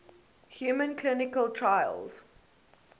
human clinical trials